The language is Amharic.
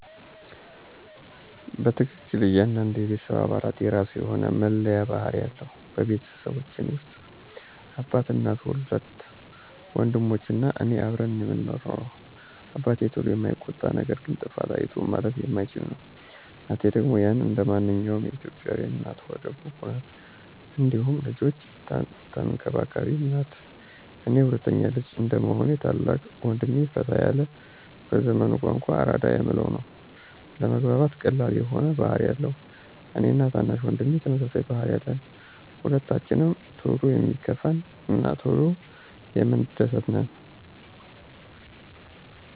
በትክክል ! እያንዳንዱ የቤተሰብ አባላት የራሱ የሆነ መለያ ባህሪ አለው። በቤተሰባችን ውስጥ አባት፣ እናት፣ ሁለት ወንድሞች እና እኔ አብረን ነው ምንኖረው። አባቴ ቶሎ የማይቆጣ ነገር ግን ጥፋት አይቶ ማለፍ የማይችል ነው፤ እናቴ ደግሞ ያው እንደማንኛውም የኢትዮጲያ እናት ሆደ ቡቡ ናት እንዲሁም ልጆቿን ተንከባካቢም ናት፤ እኔ ሁለተኛ ልጅ እንደመሆኔ ታላቅ ወንድሜ ፈታ ያለ በዘመኑ ቋንቋ አራዳ የምንለው ነው። ለመግባባት ቀላል የሆነ ባህሪ አለው፤ እኔ እና ታናሽ ወንድሜ ተመሳሳይ ባህሪ አለን። ሁለታችንም ቶሎ የሚከፋን እና ቶሎ የምንደስት ነን።